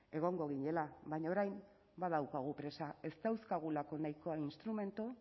egongo ginela baina orain badaukagu presa ez dauzkagulako nahikoa instrumentu